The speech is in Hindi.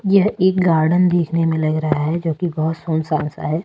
यह एक गार्डन देखने में लग रहा है जो कि बहुत सुनसान सा है।